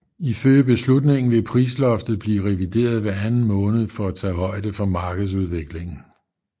Ifølge beslutningen vil prisloftet blive revideret hver anden måned for at tage højde for markedsudviklingen